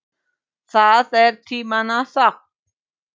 Það er tímanna tákn.